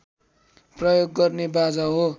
प्रयोग गर्ने बाजा हो